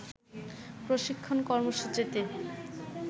প্রশিক্ষণ কর্মসূচিতে